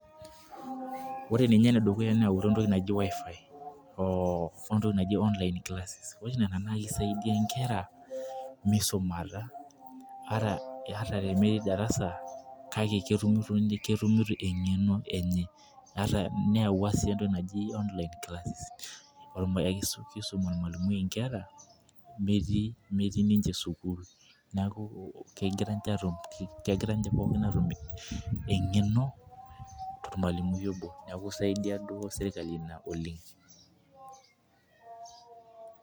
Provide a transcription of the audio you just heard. Ore ninye ene dukuya neyautua entoki naji wifi oo ntoki naji online classes ore oshi nenaa naa kisaidia inkera misumata hata meeti darasa kake ketum eng'eno enye neyaua sii entoki naji online classes kisum ormalimui inkera metij ninnche sukul neeku kegira ninche atum eng'eno tormalimui oboo neeku isaidia duo serikali ina oleng'.